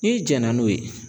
N'i jɛna n'o ye